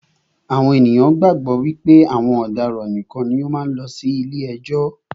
Àwọn ènìyàn gbàgbọ́ wípé àwọn ọ̀daràn nìkan ni ó máa ń lọ sí ilé ẹjọ́.